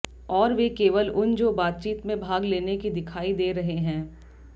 और वे केवल उन जो बातचीत में भाग लेने के दिखाई दे रहे हैं